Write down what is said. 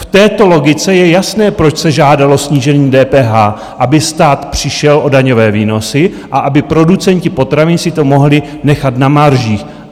V této logice je jasné, proč se žádalo snížení DPH, aby stát přišel o daňové výnosy a aby producenti potravin si to mohli nechat na maržích.